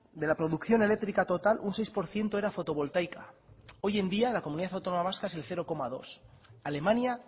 de la producción eléctrica total un seis por ciento era fotovoltaica hoy en día la comunidad autónoma vasca es el cero coma dos alemania